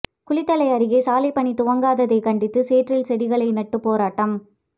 குளித்தலை அருகே சாலைப்பணி துவங்காததை கண்டித்து சேற்றில் செடிகளை நட்டு போராட்டம்